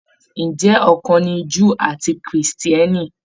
Ǹjẹ́ ọ̀kan ni Júù àti Krìstìẹ́nì?